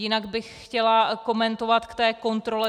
Jinak bych chtěla komentovat k té kontrole.